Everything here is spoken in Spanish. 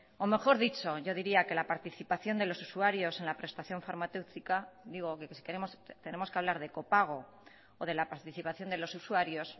si tenemos que hablar de copago o de la participación de los usuarios o mejor dicho de la participación de los usuarios